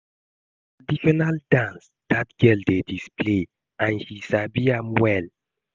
Na traditional dance dat girl dey display and she sabi am well